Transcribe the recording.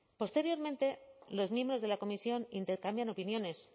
posteriormente los miembros de la comisión intercambian opiniones